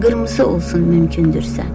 Qırmızı olsun mümkündürsə.